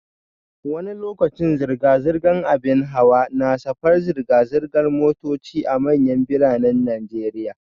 Wani lokaci zirga-zirgar ababen hawa na shafar zirga-zirgar motoci a manyan biranen Najeriya